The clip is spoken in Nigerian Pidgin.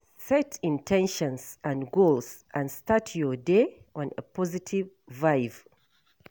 Set in ten tions and goals and start your day on a positive vibe